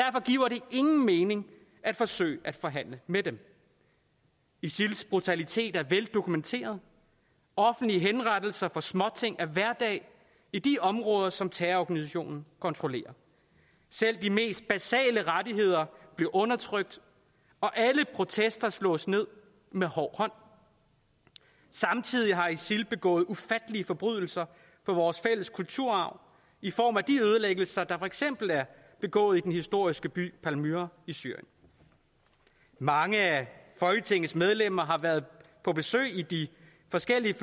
ingen mening at forsøge at forhandle med dem isils brutalitet er veldokumenteret offentlige henrettelser for småting er hverdag i de områder som terrororganisationen kontrollerer selv de mest basale rettigheder bliver undertrykt og alle protester slås ned med hård hånd samtidig har isil begået ufattelige forbrydelser på vores fælles kulturarv i form af de ødelæggelser der for eksempel er begået i den historiske by palmyra i syrien mange af folketingets medlemmer har været på besøg i de forskellige